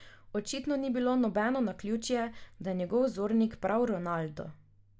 Očitno ni nobeno naključje, da je njegov vzornik prav Ronaldo.